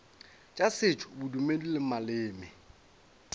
tša setšo bodumedi le maleme